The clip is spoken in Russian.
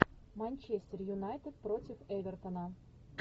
манчестер юнайтед против эвертона